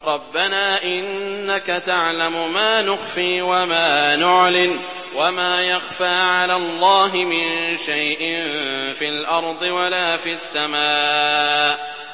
رَبَّنَا إِنَّكَ تَعْلَمُ مَا نُخْفِي وَمَا نُعْلِنُ ۗ وَمَا يَخْفَىٰ عَلَى اللَّهِ مِن شَيْءٍ فِي الْأَرْضِ وَلَا فِي السَّمَاءِ